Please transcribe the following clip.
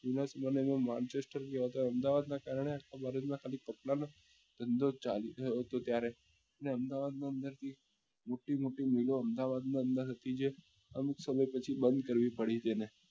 જુના જમાના માં અમદાવાદ ના કારણે આખા માં ખાલી કપડા નો જ ધંધો ચાલુ થયો હતો ત્યારે ને અમદાવાદ ની અંદર જે મોટી મોટી મિલો હતી અમદાવાદ માં અંદર હતી જે અમુક સમય પછી બંદ કરવી પડી તેને